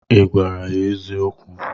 Ị gwara ya eziokwu?